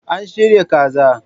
An shirya kaza.